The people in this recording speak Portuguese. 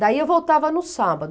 Daí eu voltava no sábado.